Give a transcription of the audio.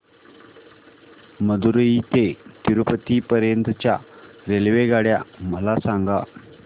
मदुरई ते तिरूपती पर्यंत च्या रेल्वेगाड्या मला सांगा